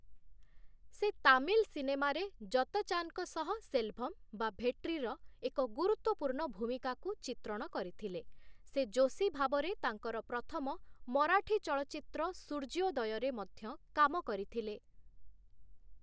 ସେ ତାମିଲ ସିନେମାରେ ଯତଚାନଙ୍କ ସହ ସେଲଭମ/ଭେଟ୍ରିର ଏକ ଗୁରୁତ୍ୱପୂର୍ଣ୍ଣ ଭୂମିକା କୁ ଚିତ୍ରଣ କରିଥିଲେ, ସେ ଯୋଶୀ ଭାବରେ ତାଙ୍କର ପ୍ରଥମ ମରାଠୀ ଚଳଚ୍ଚିତ୍ର ସୂର୍ଯ୍ୟୋଦୟରେ ମଧ୍ୟ କାମ କରିଥିଲେ ।